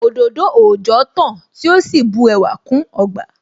Òdòdó òòjọ́ tán tí ó sì bu ẹwà kún ọgbà